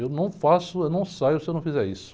Eu não faço, eu não saio se eu não fizer isso.